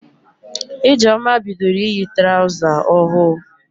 Ijeoma bidoro iyi traụza ohụụ.